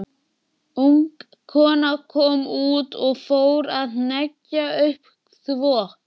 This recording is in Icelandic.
Ung kona kom út og fór að hengja upp þvott.